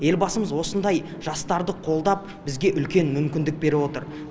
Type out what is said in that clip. елбасымыз осындай жастарды қолдап бізге үлкен мүмкіндік беріп отыр